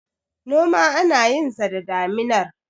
noma ana yinsa da daminar